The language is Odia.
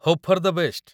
Hope for the best.